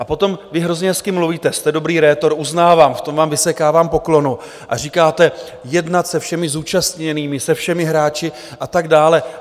A potom, vy hrozně hezky mluvíte, jste dobrý rétor, uznávám, v tom vám vysekávám poklonu, a říkáte - jednat se všemi zúčastněnými, se všemi hráči a tak dále.